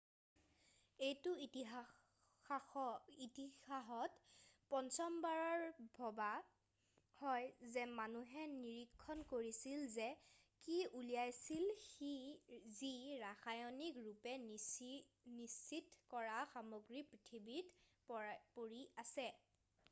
এইটো ইতিসাহত পঞ্চমবাৰ ভবা হয় যে মানুহে নিৰীক্ষণ কৰিছিল যে কি ওলাইছিল যি ৰাসায়নিক ৰূপে নিশ্চিত কৰা সামগ্ৰী পৃথিৱীত পৰি আছে৷